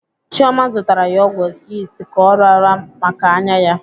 Chioma zụtara ya ọgwụ yist ka ọ raa maka anya ya.